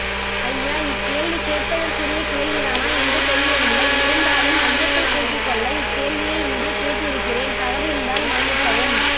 ஐயா இக்கேள்வி கேட்பதற்குரிய கேள்விதானா என்று தெரியவில்லை இருந்த்தாலும் ஐயத்தை போக்கிக்கொள்ள இக்கேள்வியை இங்கே கேட்டிருக்கிறேன் தவறிருந்தால் மன்னிக்கவும்